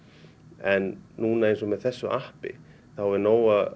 en núna eins og með þessu appi þá er nóg að